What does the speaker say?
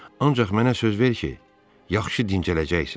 Ancaq mənə söz ver ki, yaxşı dincələcəksən.